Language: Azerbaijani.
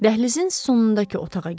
Dəhlizin sonundakı otağa girdi.